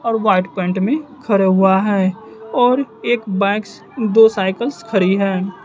और white pant में खरा हुआ है और एक बाइक्स दो साइकिल्स खरी है।